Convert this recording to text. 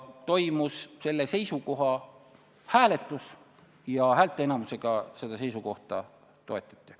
Toimus seisukoha üle hääletamine ja häälteenamusega seda toetati.